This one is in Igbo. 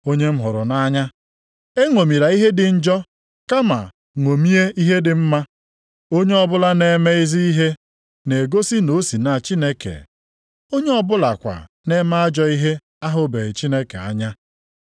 Onye m hụrụ nʼanya, eṅomila ihe dị njọ kama ṅomie ihe dị mma. Onye ọbụla na-eme ezi ihe na-egosi na o si na Chineke. Onye ọ bụlakwa na-eme ajọ ihe ahụbeghị Chineke anya.